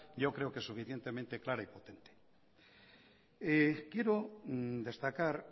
yo creo que suficientemente clara y potente quiero destacar